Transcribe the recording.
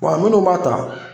bɔn minnu b'a ta